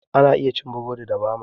Ana iya cin burodi da bama